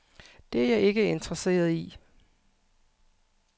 Det er jeg ikke interesseret i.